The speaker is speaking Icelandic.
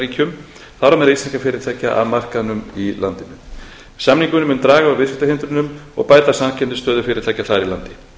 ríkjum þar á meðal íslenskra fyrirtækja að markaðnum í landinu samningurinn mun draga úr viðskiptahindrunum og bæta samkeppnisstöðu fyrirtækja þar í landi